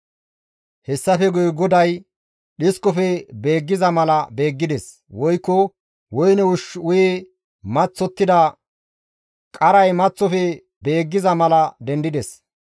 Hessafe guye Goday dhiskofe beeggiza mala beeggides; woykko woyne ushshu uyi maththottida qaray maththofe beeggiza mala dendides.